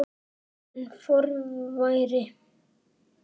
Einn forveri